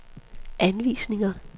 anvisninger